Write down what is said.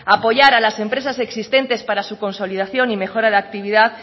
apoyar a las empresas existentes para su consolidación y mejora de actividad